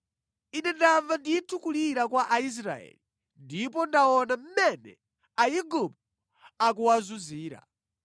Ine ndamva ndithu kulira kwa Aisraeli, ndipo ndaona mmene Aigupto akuwazunzira.